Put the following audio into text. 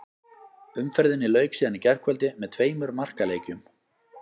Umferðinni lauk síðan í gærkvöldi með tveimur markaleikjum.